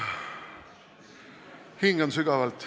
Hingan sügavalt.